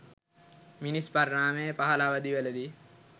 මිනිස් පරිණාමයේ පහළ අවධිවලදී